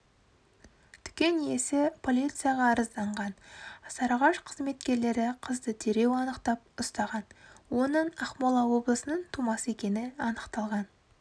дүкен иесі полицияға арызданған сарыағаш қызметкерлері қызды дереу анықтап ұстаған оның ақмола облысының тумасы екені анықталған